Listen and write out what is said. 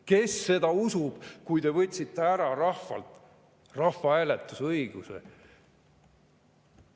Kes seda usub, kui te võtsite ära rahvalt rahvahääletusõiguse?